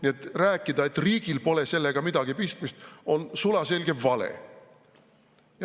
Nii et rääkida, et riigil pole sellega midagi pistmist, on sulaselge vale.